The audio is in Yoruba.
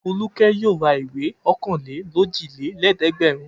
Folúkẹ́ yóò ra ìwé ọ̀kanlélójìlélẹ́ẹ̀dẹ́gbẹ̀rún.